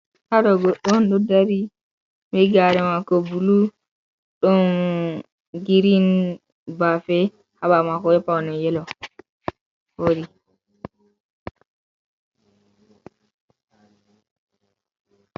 Haɗo gorko on ɗo dari be gare mako bulu, ɗon girin bafe haɓawo mako be paune yelo hori.